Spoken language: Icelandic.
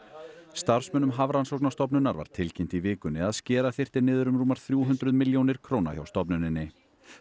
starfsmönnum Hafrannsóknastofnunar var tilkynnt í vikunni að skera þyrfti niður um rúmar þrjú hundruð milljónir króna hjá stofnuninni